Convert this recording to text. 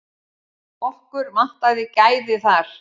Okkur vantaði gæði þar.